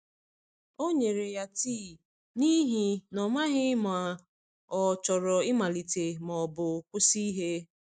O nyere ya tii, n’ihi na ọ maghị ma ọ chọrọ ịmalite ma ọ bụ kwụsị ihe.